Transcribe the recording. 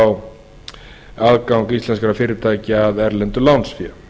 á aðgang íslenskra fyrirtækja að erlendu lánsfé